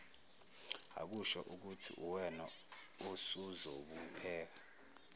akushoukuthi uwena osuzobopheka